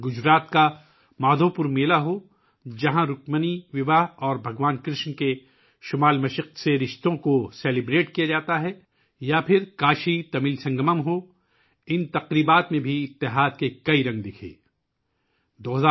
گجرات کا مادھو پور میلہ ہو، جہاں رکمنی کی شادی اور بھگوان کرشن کا شمال مشرق سے رشتہ منایا جاتا ہے، یا کاشی تمل سنگم، ان تہواروں میں اتحاد کے کئی رنگ نظر آتے تھے